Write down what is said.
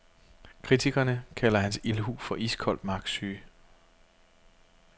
Kritikerne kalder hans ildhu for iskold magtsyge.